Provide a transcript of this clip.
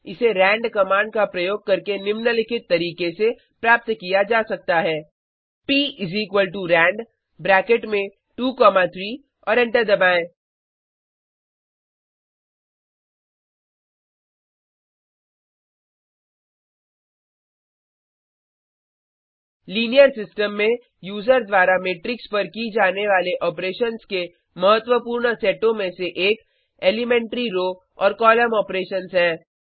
इसे rand command का प्रयोग करके निम्नलिखित तरीके से प्राप्त किया जा सकता है prand ब्रैकेट में 2 3 और एंटर दबाएँ लीनियर सिस्टम में यूजर द्वारा मेट्रिक्स पर की जाने वाले ऑपरेशन्स के महत्वपूर्ण सेटों में से एक एलीमेंट्री रो और कॉलम ऑपरेशन्स हैं